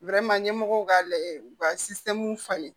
ɲɛmɔgɔw ka lajɛ u ka falen